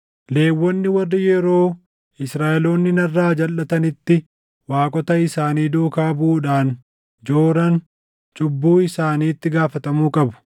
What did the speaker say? “ ‘Lewwonni warri yeroo Israaʼeloonni narraa jalʼatanitti waaqota isaanii duukaa buʼuudhaan jooran cubbuu isaaniitti gaafatamuu qabu.